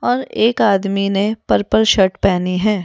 और एक आदमी ने पर्पल शर्ट पहनी है।